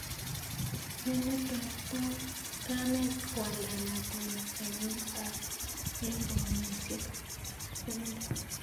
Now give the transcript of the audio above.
Ne netorton kamet koalda lakwet nenyin eng paunisiek 70?